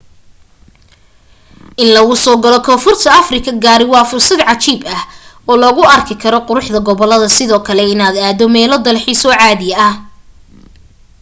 in lagu soo galo koonfurta afrika gaari waa fursad cajiib ah oo lagu arki karo quruxda goboladda sidoo kale inaad aado meelo dalxiiso oo caadi ah